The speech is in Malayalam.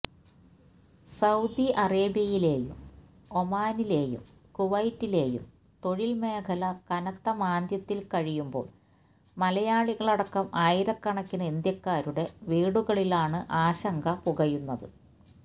സൌദി അറേബ്യയിലെയും ഒമാനിലെയും കുവൈറ്റിലെയും തൊഴിൽ മേഖല കനത്ത മാന്ദ്യത്തിൽ കഴിയുമ്പോൾ മലയാളികളടക്കം ആയിരക്കണക്കിന് ഇന്ത്യക്കാരുടെ വീടുകളിലാണ് ആശങ്ക പുകയുന്നത്